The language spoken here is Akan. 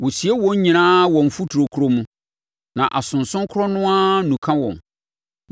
Wɔsie wɔn nyinaa wɔ mfuturo korɔ mu, ma asonson korɔ no ara nuka wɔn.